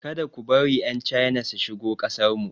Ka da ku bari 'Yan China su shigo kasarmu.